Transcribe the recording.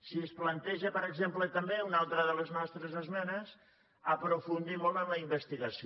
si es planteja per exemple també una altra de les nostres esmenes aprofundir molt en la investigació